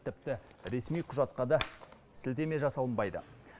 тіпті ресми құжатқа да сілтеме жасалынбайды